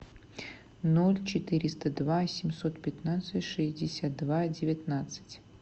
ноль четыреста два семьсот пятнадцать шестьдесят два девятнадцать